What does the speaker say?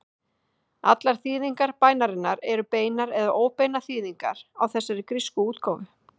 Allar þýðingar bænarinnar eru beinar eða óbeinar þýðingar á þessari grísku útgáfu.